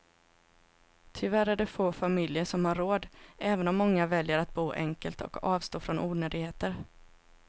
Tyvärr är det få familjer som har råd, även om många väljer att bo enkelt och avstå från onödigheter.